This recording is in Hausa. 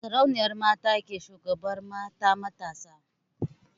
Sarauniyar mata ke shugabantar mata matasa.